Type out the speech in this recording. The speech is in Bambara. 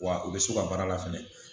Wa u bɛ so ka baara la fɛnɛ